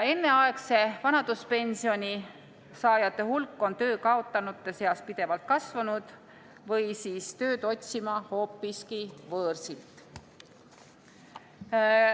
Enneaegse vanaduspensioni saajate hulk on töö kaotanute seas pidevalt kasvanud või siis tööd otsima hoopiski võõrsilt.